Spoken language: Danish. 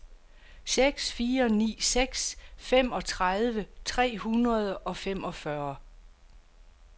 seks fire ni seks femogtredive tre hundrede og femogfyrre